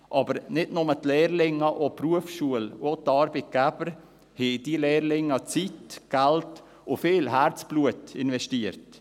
Aber nicht nur die Lehrlinge, sondern auch die Berufsschule und die Arbeitgeber haben in diese Lehrlinge Zeit, Geld und viel Herzblut investiert.